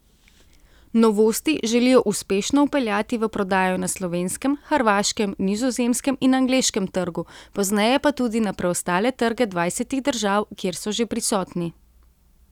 Novosti želijo uspešno vpeljati v prodajo na slovenskem, hrvaškem, nizozemskem in angleškem trgu, pozneje pa tudi na preostale trge dvajsetih držav, kjer so že prisotni.